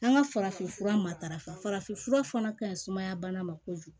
An ka farafinfura matarafa farafinfura fana ka ɲi sumaya bana ma kojugu